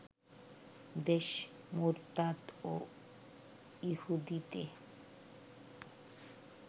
দেশ মুরতাদ ও ইহুদিতে